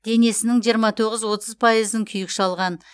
денесінің жиырма тоғыз отыз пайызын күйік шалған